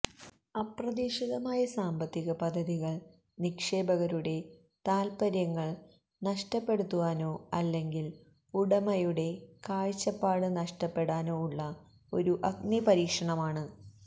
അപ്രതീക്ഷിതമായ സാമ്പത്തിക പദ്ധതികൾ നിക്ഷേപകരുടെ താത്പര്യങ്ങൾ നഷ്ടപ്പെടുത്തുവാനോ അല്ലെങ്കിൽ ഉടമയുടെ കാഴ്ചപ്പാട് നഷ്ടപ്പെടാനോ ഉള്ള ഒരു അഗ്നിപരീക്ഷണമാണ്